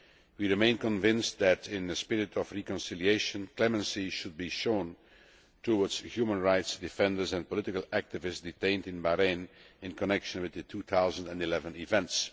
We remain convinced that, in the spirit of reconciliation, clemency should be shown towards human rights defenders and political activists detained in Bahrain in connection with the 2011 events.